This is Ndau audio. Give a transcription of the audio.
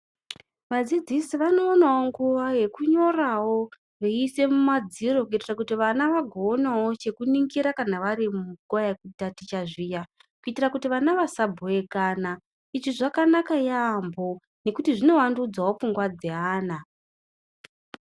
Vadzidzisi vanowanawo nguva yekunyorawo veiise mumadziro kuitira kuti vana vagoonawo chekuningira kana vari munguva yekutaticha zviya kuitira kuti vana vasabhowekana izvi zvakanaka yaambo nekuti zvinovandudzavo pfungwa dzeana.